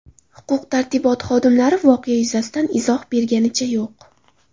Huquq-tartibot xodimlari voqea yuzasidan izoh berganicha yo‘q.